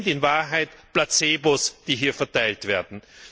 Es sind in Wahrheit Placebos, die hier verteilt werden.